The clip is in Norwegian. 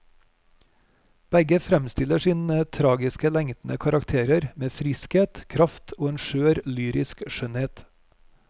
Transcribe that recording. Begge fremstiller sine tragisk lengtende karakterer med friskhet, kraft og en skjør lyrisk skjønnhet.